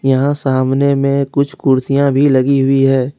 यहां सामने में कुछ कुर्सियां भी लगी हुई है।